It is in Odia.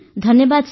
ଧନ୍ୟବାଦ ସାର୍